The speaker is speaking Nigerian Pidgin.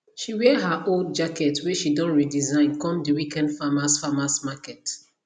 she wear her old jacket whey she don redesign come the weekend farmers farmers market